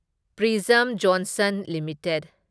prism Johnson limited